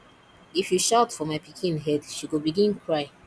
if you shout for my pikin head she go begin cry